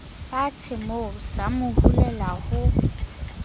fatshemoo sa mo hulela ho